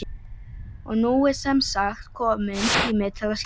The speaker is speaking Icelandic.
Og nú er semsagt kominn tími til að skíra.